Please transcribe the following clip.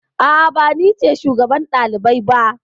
A'a, ba ni ce shugaban ɗalibai ba.